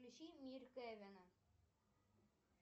включи мир кэвина